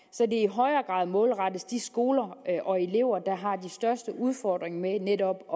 højere grad målrettes de skoler og elever der har de største udfordringer med netop at